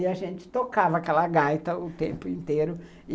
E a gente tocava aquela gaita o tempo inteiro.